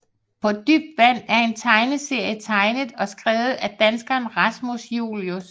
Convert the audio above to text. På Dybt Vand er en tegneserie tegnet og skrevet af danskeren Rasmus Julius